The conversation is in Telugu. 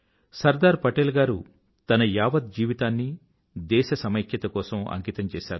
సర్దార్ పటేల్ గారు తన యావత్ జీవితాన్నీ దేశ సమైక్యత కోసం అంకితం చేశారు